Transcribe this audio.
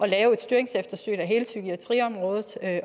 lave et styringseftersyn af hele psykiatriområdet